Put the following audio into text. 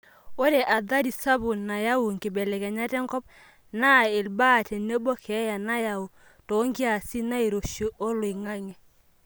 Ore athari sapuk nayau nkibelekenyat enkop naa ilbaa tenebo keeya nayau toonkiasin nairoshi oloingange.